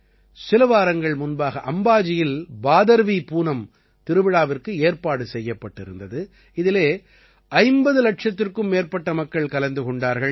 சில வாரங்கள் முன்பாக அம்பாஜியில் பாதர்வீ பூனம் திருவிழாவிற்கு ஏற்பாடு செய்யப்பட்டிருந்தது இதிலே 50 இலட்சத்திற்கும் மேற்பட்ட மக்கள் கலந்து கொண்டார்கள்